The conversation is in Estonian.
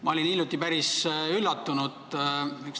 Ma olin hiljuti päris üllatunud.